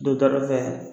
Don dɔ fɛ